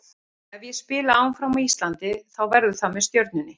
Ef ég spila áfram á Íslandi þá verður það með Stjörnunni.